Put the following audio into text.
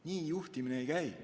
Nii juhtimine ei käi.